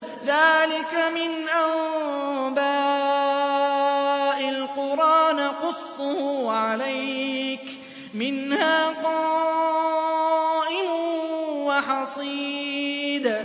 ذَٰلِكَ مِنْ أَنبَاءِ الْقُرَىٰ نَقُصُّهُ عَلَيْكَ ۖ مِنْهَا قَائِمٌ وَحَصِيدٌ